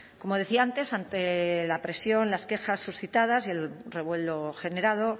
como decía antes ante la presión las quejas suscitadas y el revuelo generado